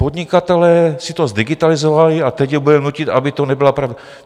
Podnikatelé si to zdigitalizovali a teď je budeme nutit, aby to nebyla pravda.